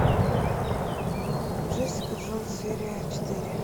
джессика джонс серия четыре